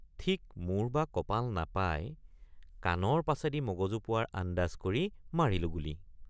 ঠিক মূৰ বা কপাল নাপাই কাণৰ পাছেদি মগজু পোৱাৰ আন্দাজ কৰি মাৰিলোঁ গুলী।